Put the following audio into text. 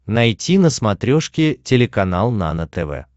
найти на смотрешке телеканал нано тв